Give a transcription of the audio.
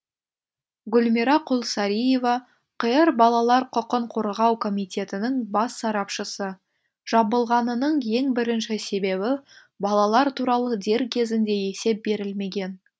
гүлмира құлсариева қр балалар құқын қорғау комитетінің бас сарапшысы жабылғанының ең бірінші себебі балалар туралы дер кезінде есеп берілмеген